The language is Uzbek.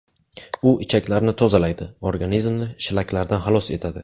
U ichaklarni tozalaydi, organizmni shlaklardan xalos etadi.